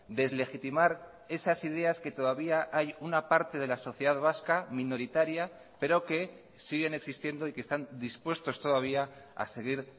deslegitimar esas ideas que todavía hay una parte de la sociedad vasca minoritaria pero que siguen existiendo y que están dispuestos todavía a seguir